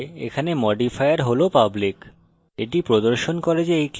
আমরা দেখতে পারি যে এখানে modifier হল public